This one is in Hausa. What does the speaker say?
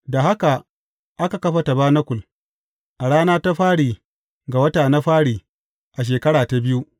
Da haka aka kafa tabanakul, a rana ta fari ga wata na fari a shekara ta biyu.